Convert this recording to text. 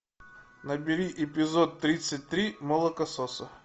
набери эпизод тридцать три молокососы